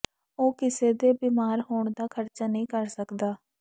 ਉਹ ਕਿਸੇ ਦੇ ਬਿਮਾਰ ਹੋਣ ਦਾ ਖਰਚਾ ਨਹੀਂ ਕਰ ਸਕਦਾ